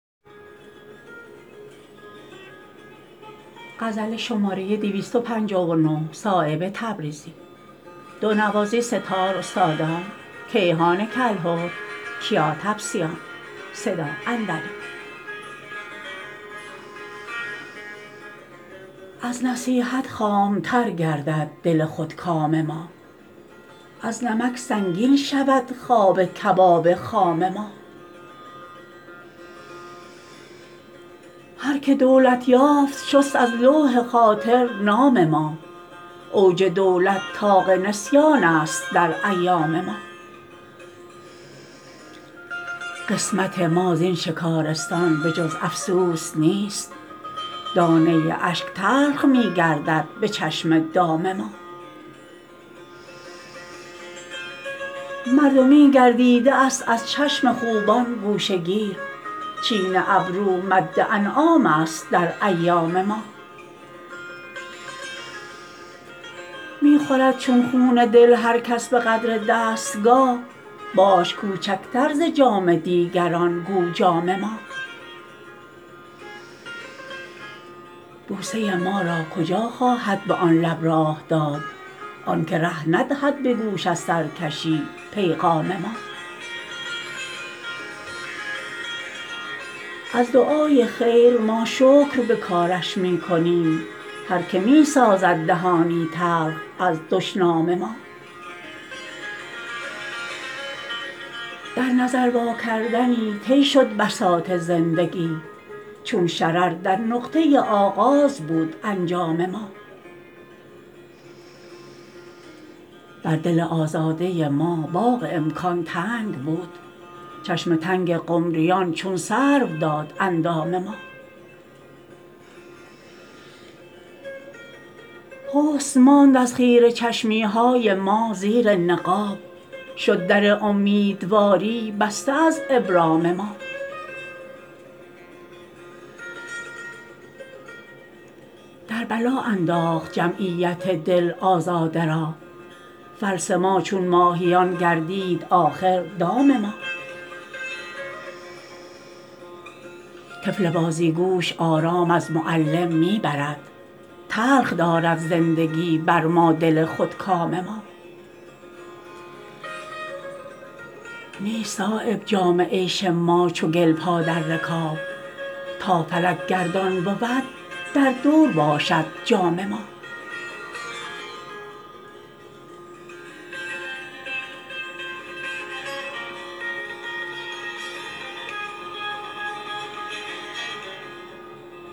از نصیحت خامتر گردد دل خودکام ما از نمک سنگین شود خواب کباب خام ما هر که دولت یافت شست از لوح خاطر نام ما اوج دولت طاق نسیان است در ایام ما قسمت ما زین شکارستان به جز افسوس نیست دانه اشک تلخ می گردد به چشم دام ما مردمی گردیده است از چشم خوبان گوشه گیر چین ابرو مد انعام است در ایام ما می خورد چون خون دل هر کس به قدر دستگاه باش کوچکتر ز جام دیگران گو جام ما بوسه ما را کجا خواهد به آن لب راه داد آن که ره ندهد به گوش از سرکشی پیغام ما از دعای خیر ما شکر به کارش می کنیم هر که می سازد دهانی تلخ از دشنام ما در نظر واکردنی طی شد بساط زندگی چون شرر در نقطه آغاز بود انجام ما بر دل آزاده ما باغ امکان تنگ بود چشم تنگ قمریان چون سرو داد اندام ما حسن ماند از خیره چشمی های ما زیر نقاب شد در امیدواری بسته از ابرام ما در بلا انداخت جمعیت دل آزاده را فلس ما چون ماهیان گردید آخر دام ما طفل بازیگوش آرام از معلم می برد تلخ دارد زندگی بر ما دل خودکام ما نیست صایب جام عیش ما چو گل پا در رکاب تا فلک گردان بود در دور باشد جام ما